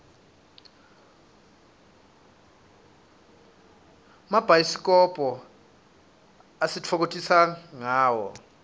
gmabhayisikobho sititfokotisa ngawo